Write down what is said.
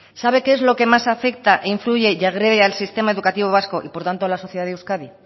sabe qué es lo que más afecta influye y agrede al sistema educativo vasco y por tanto a la sociedad de euskadi